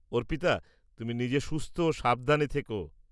অর্পিতা, তুমি নিজে সুস্থ ও সাবধানে থেকো।